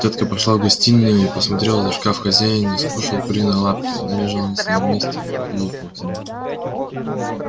тётка пошла в гостиную и посмотрела за шкаф хозяин не скушал куриной лапки она лежала на своём месте в пыли и паутине